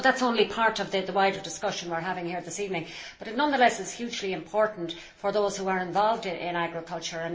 I know that is only part of the wider discussion we are having here this evening but, nonetheless, it is hugely important for those who are involved in agriculture.